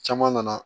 Caman nana